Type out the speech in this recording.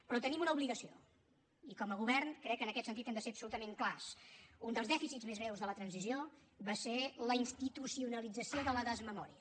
però tenim una obligació i com a govern crec que en aquest sentit hem de ser absolutament clars un dels dèficits més greus de la transició va ser la institucionalització de la desmemòria